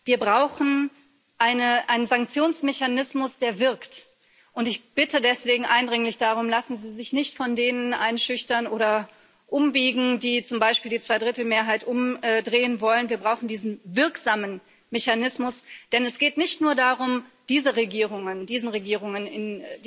Wir brauchen einen Sanktionsmechanismus, der wirkt. Ich bitte deswegen eindringlich darum Lassen Sie sich nicht von denen einschüchtern oder umbiegen, die zum Beispiel die Zweidrittelmehrheit umdrehen wollen wir brauchen diesen wirksamen Mechanismus. Denn es geht nicht nur darum, diese Regierungen